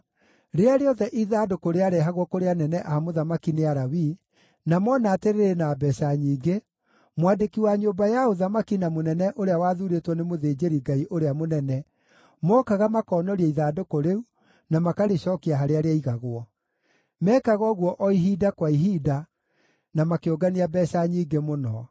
Rĩrĩa rĩothe ithandũkũ rĩarehagwo kũrĩ anene a mũthamaki nĩ Alawii, na mona atĩ rĩrĩ na mbeeca nyingĩ, mwandĩki wa nyũmba ya ũthamaki na mũnene ũrĩa wathuurĩtwo nĩ mũthĩnjĩri-Ngai ũrĩa mũnene, mookaga makoonoria ithandũkũ rĩu, na makarĩcookia harĩa rĩaigagwo. Meekaga ũguo o ihinda, kwa ihinda, na makĩũngania mbeeca nyingĩ mũno.